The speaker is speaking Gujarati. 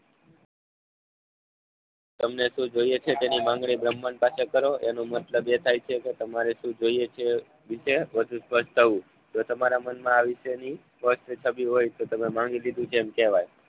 તમને શું જોઈએ છે તેની માંગણી બ્રહ્માંડ પાસે કરો એનો મતલબ એમ થાય છે એક તેમારે શું જોઈએ છે તે વિશે વધુ સ્પર્ષતાવુ જો તમારા મનમાં આ વિશેની સપષ્ટ છબી હોય તો તમે માંગી લીધું છે તેમ કહેવાય